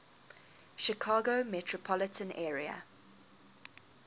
chicago metropolitan area